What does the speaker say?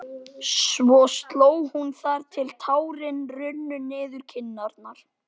Svo hló hún þar til tárin runnu niður kinnarnar.